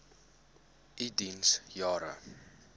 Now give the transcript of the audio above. u diens jare